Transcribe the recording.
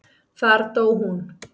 Þar dó hún.